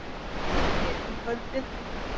Hægviðri um kvöldið